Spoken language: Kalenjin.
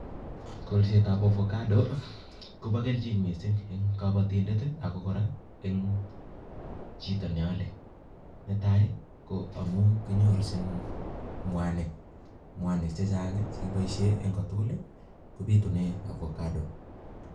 Kolsetab avocado kobo kelchin mising en kobotindet ako kora en chito neolee, netai ko amun kinyoorus in mwaniik, mwanik chechang chekibooshien en kotugul kobiitunen avocado.